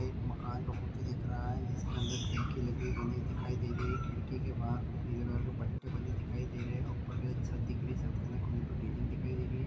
एक मकान का फोटो दिख रहा हैं जिसके अंदर खिड़की लगी बनी हुई दिखाई दे रही हैं खिड़की के बाहर कुछ नीले कलर के पट्टे बने दिखाई दे रहे हैं ऊपर की तरफ छत दिख रही हैं छत के अंदर कोने पर रेलिंग दिखाई दे रही हैं।